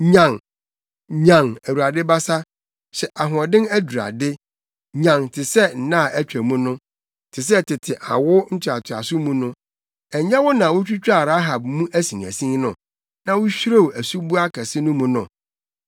Nyan, nyan! Awurade basa, hyɛ ahoɔden adurade; nyan te sɛ nna a atwa mu no, te sɛ tete awo ntoatoaso mu no. Ɛnyɛ wo na wutwitwaa Rahab mu asinasin no, na wuhwirew asuboa kɛse no mu no?